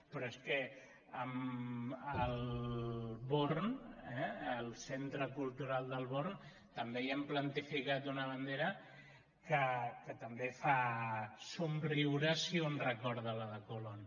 però és que al born eh al centre cultural del born també hi han plantificat una bandera que també fa somriure si un recorda la de colón